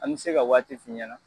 An bɛ se ka waati f'i ɲɛna.